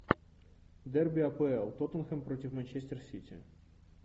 дерби апл тоттенхэм против манчестер сити